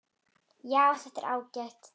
Já, þetta er ágætt.